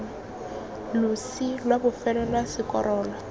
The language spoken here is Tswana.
losi lwa bofelo lwa sekorolo